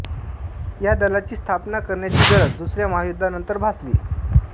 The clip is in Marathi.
या दलाची स्थापना करण्याची गरज दुसऱ्या महायुध्दानंतर भासली